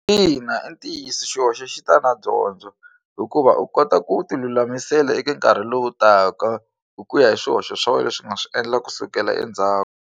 Ina, i ntiyiso xihoxo xi ta na dyondzo hikuva u kota ku tilulamisela eka nkarhi lowu taka hi ku ya hi swihoxo swa wena leswi u nga swi endla kusukela endzhaku.